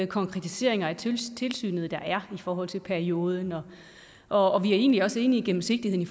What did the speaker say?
konkretiseringer af tilsynet der er i forhold til perioden og og vi er egentlig også enige i gennemsigtigheden i